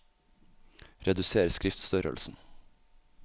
Reduser skriftstørrelsen